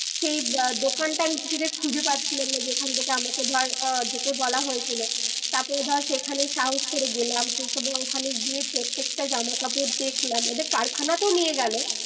সেই দোকানটা আমি কিছু তেই খুঁজে পাচ্ছিলাম না যেখান থেকে আমাকে ধর আহ যেতে বলা হয়েছিল তার পরে ধর সেখানে সাহস করে গেলাম ওখানে গিয়ে প্রত্যেকটা জামা কাপড় দেখলাম ওদের কারখানা তেও নিয়ে গেলো